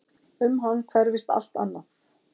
Um hann hverfist allt annað.